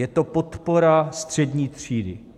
Je to podpora střední třídy.